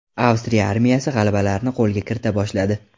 Avstriya armiyasi g‘alabalarni qo‘lga kirita boshladi.